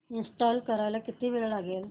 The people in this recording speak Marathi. इंस्टॉल करायला किती वेळ लागेल